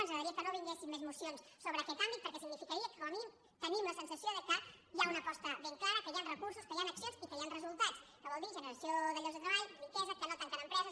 ens agradaria que no vinguessin més mocions sobre aquest àmbit perquè significaria que com a mínim tenim la sensació que hi ha una aposta ben clara que hi han recursos que hi han accions i que hi han resultats que vol dir generació de llocs de treball riquesa que no tanquen empreses